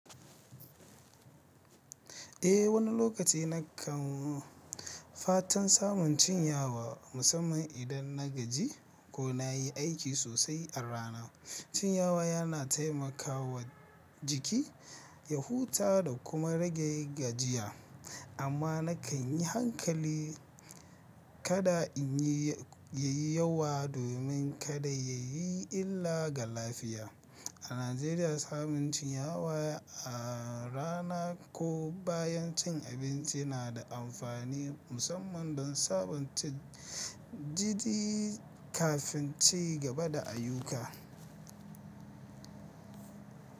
Eh, wani lokaci na kan fatan samun cinyawa musamman idan na gaji ko na yi aiki sosai a rana. Cinyawa yana taimakawa jiki ya huta da kuma rage gajiya. Amma na kan yi hankali kada in yi ya yi yawa domin kada ya yi illa ga lafiya. A Najeriya, samun cinyawa a rana ko bayan cin abinci na da amfani musamman don sabunta jiki kafin ci gaba da ayyuka.